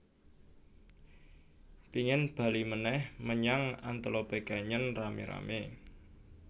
Pingin bali meneh menyang Antelope Canyon rame rame